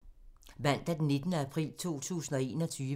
Mandag d. 19. april 2021